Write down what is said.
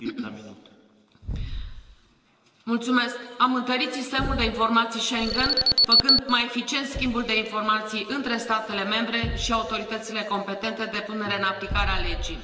Domnule președinte, am întărit Sistemul de Informații Schengen făcând mai eficient schimbul de informații între statele membre și autoritățile competente de punere în aplicare a legii.